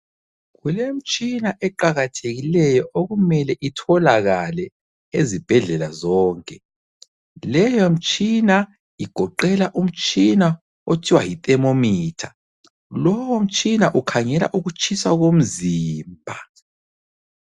Kulemtshina eqakathekileyo okumele itholakale ezibhedlela zonke. Leyomtshina igoqela umtshina othiwa yithermometer. Lowo mtshina ukhangela ukutshisa komzimba.